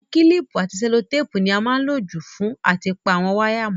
Àwon kílìpù àti sẹ́lótàpù ni a má n lo jù fún áti pa àwon wire mó